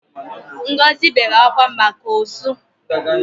Ngozi wept because of the loss she incurred fro from her rotten oranges and apples.